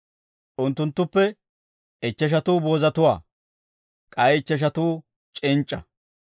Unttunttuppe ichcheshatuu boozatuwaa; k'ay ichcheshatuu c'inc'c'a.